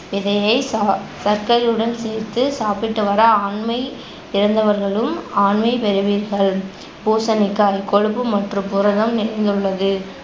விதையை தா~ சர்க்கரையுடன் சேர்த்து சாப்பிட்டுவர ஆண்மை இழந்தவர்களும் ஆண்மை பெறுவீர்கள். பூசணிக்காய் கொழுப்பு மற்றும் புரதம் நிறைந்துள்ளது